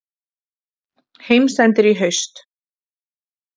Heimsendir í haust